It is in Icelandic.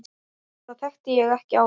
Þetta þekkti ég ekki áður.